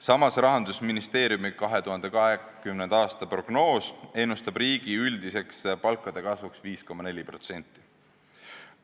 Samas, Rahandusministeeriumi 2020. aasta prognoos ennustab riigi üldiseks palkade kasvuks 5,4%.